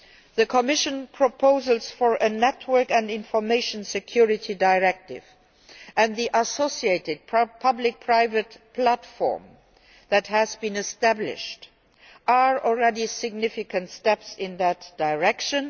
The Commission proposals for a network and information security directive and the associated public private platform that has been established are already significant steps in that direction.